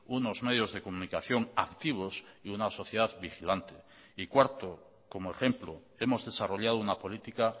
unos medios de comunicación activos y una sociedad vigilante y cuarto como ejemplo hemos desarrollado una política